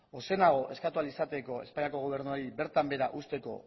ozenago eskatu ahal izateko espainiako gobernuari bertan behera uzteko